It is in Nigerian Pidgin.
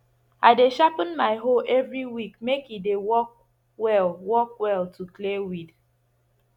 i dey sharpen my hoe every week make e dey work well work well to clear weed